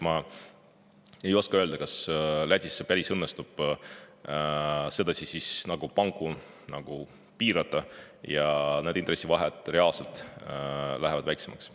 Ma ei oska öelda, kas Lätis päris õnnestub sedasi panku piirata ja intressivahed seal reaalselt lähevadki väiksemaks.